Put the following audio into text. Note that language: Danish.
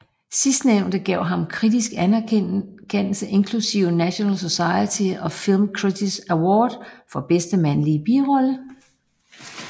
Sidstnævnte gav ham kritisk anerkendelse inklusiv National Society of Film Critics Award for bedste mandlige birolle